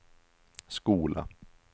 skola